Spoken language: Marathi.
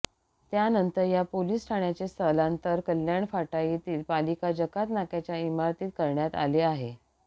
त्यानंतर या पोलिस ठाण्याचे स्थलांतर कल्याण फाटा येथील पालिका जकात नाक्याच्या इमारतीत करण्यात आले आहे